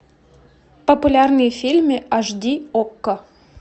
популярные фильмы аш ди окко